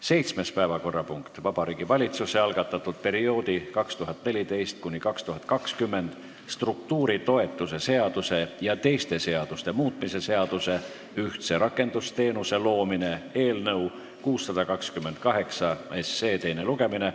Seitsmes päevakorrapunkt: Vabariigi Valitsuse algatatud perioodi 2014–2020 struktuuritoetuse seaduse ja teiste seaduste muutmise seaduse eelnõu 628 teine lugemine.